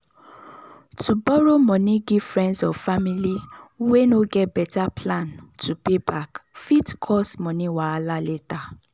to borrow money give friends or family way no get better plan to pay back fit cause money wahala later.